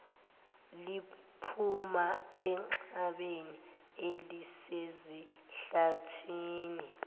liphuma enxebeni elisesihlathini